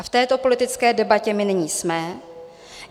A v této politické debatě my nyní jsme.